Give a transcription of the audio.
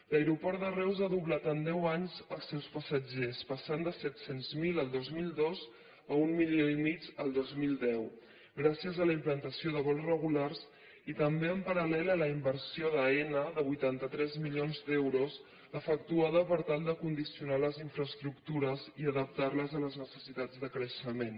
l’aeroport de reus ha doblat en deu anys els seus passatgers passant de set cents miler el dos mil dos a un milió i mig el dos mil deu gràcies a la implantació de vols regulars i també en paral·lel a la inversió d’aena de vuitanta tres milions d’euros efectuada per tal de condicionar les infraestructures i adaptar les a les necessitats de creixement